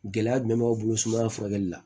Gɛlɛya jumɛn b'aw bolo sumaya furakɛli la